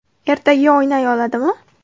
Ertaga o‘ynay oladimi?